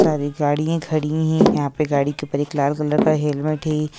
बहुत सारी गाड़िया खड़ी है यहां पे गाड़ी के ऊपर एक लाल कलर का हेलमेट है।